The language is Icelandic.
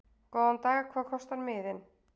Góðan dag. Hvað kostar miðinn?